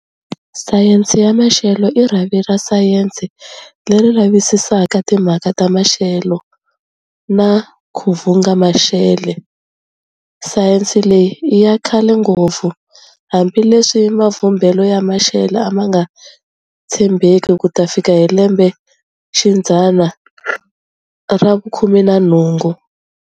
Sayensi ya maxele i rhavi ra Sayensi leri lavisisaka timhaka ta maxele na kuvhumba maxele. Sayensi leyi i ya khale ngopfu, hambi leswi mavhumbele ya maxele amanga tshembeki kuta fika hi lembexidzana ravu 18.